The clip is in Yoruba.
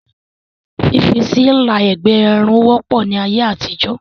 Fífi sí Ilà ẹ̀gbẹ́ Irun wọ́pọ̀ ní ayé àtijọ́